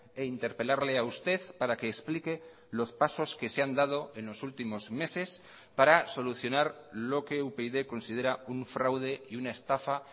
e interpelarle a usted para que explique los pasos que se han dado en los últimos meses para solucionar lo que upyd considera un fraude y una estafa